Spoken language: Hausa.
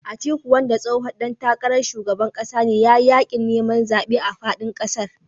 Atiku wanda tsohon ɗan takarar shugaban ƙasa ne ya yi yaƙin neman zaɓe a faɗin ƙasar